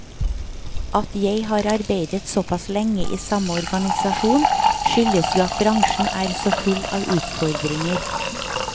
At jeg har arbeidet såpass lenge i samme organisasjon, skyldes jo at bransjen er så full av utfordringer.